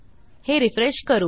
हे रिफ्रेश करू